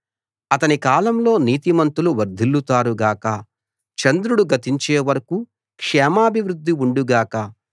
అతని కాలంలో నీతిమంతులు వర్ధిల్లుతారు గాక చంద్రుడు గతించే వరకూ క్షేమాభివృద్ధి ఉండు గాక